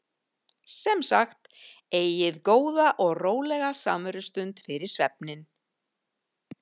Sem sagt: Eigið góða og rólega samverustund fyrir svefninn.